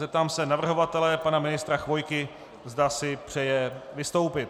Zeptám se navrhovatele, pana ministra Chvojky, zda si přeje vystoupit.